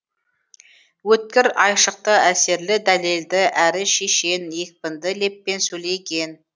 өткір айшықты әсерлі дәлелді әрі шешен екпінді леппен сөйлеген